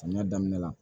Samiya daminɛ la